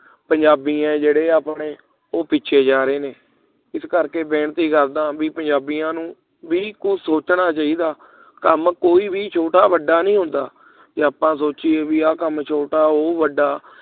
ਪੰਜਾਬੀ ਹਿਜੜੇ ਆਪਣੇ ਉਹ ਪਿੱਛੇ ਜਾ ਰਹੇ ਇਸ ਕਰਕੇ ਬਈ ਬੇਨਤੀ ਕਰਦਾ ਪੰਜਾਬੀਆਂ ਨੂੰ ਬਈ ਕੁਛ ਸੋਚਣਾ ਚਾਹੀਦਾ ਕੰਮ ਕੋਈ ਵੀ ਛੋਟਾ ਵੱਡਾ ਨਹੀਂ ਹੁੰਦਾ ਕਿ ਆਪਾਂ ਸੋਚਿਆ ਬਈ ਆਹ ਕੰਮ ਛੋਟਾ ਉਹ ਕੰਮ ਵੱਡਾ